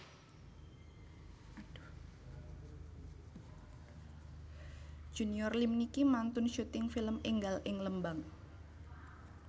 Junior Liem niki mantun syuting film enggal ing Lembang